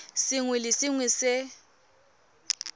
sengwe le sengwe se se